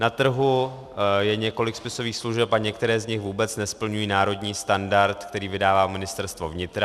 Na trhu je několik spisových služeb a některé z nich vůbec nesplňují národní standard, který vydává Ministerstvo vnitra.